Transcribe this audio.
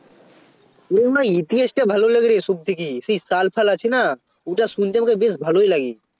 ওরে আমার ইতিহাসটা ভালো লাগেরে সবথেকে সেই সাল ফাল আছে না ওটা শুনতে আমাকে বেশ ভালোই লাগে